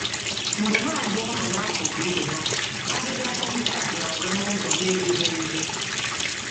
Mgbe ha abụọ nọ n’akụkụ ibe ha, agịga kompas na-aga n’ụzọ na-ezighị ezi.